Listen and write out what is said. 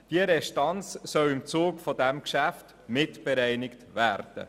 Diese Restanz soll im Zuge dieses Geschäfts mitbereinigt werden.